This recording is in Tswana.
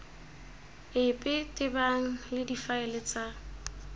epe tebang le difaele tsa